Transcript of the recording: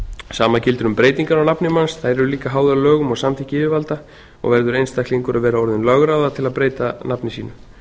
sama gildir um breytingar á nafni manns þær árum líka háðar lögum og samþykki yfirvalda og verður einstaklingur að vera orðinn lögráða til að breyta nafni sínu